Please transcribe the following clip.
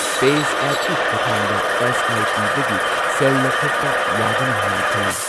ꯄꯦꯖꯦꯞꯀꯤ ꯈꯨꯊꯥꯡꯗ S I ꯄꯤꯗꯒꯤ ꯁꯦꯜ ꯂꯧꯊꯣꯛꯄ ꯌꯥꯒꯅꯤ ꯍꯥꯏꯅ ꯈꯜꯂꯤ꯫